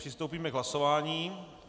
Přistoupíme k hlasování.